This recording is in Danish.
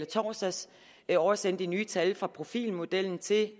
torsdags oversendte de nye tal fra profilmodellen til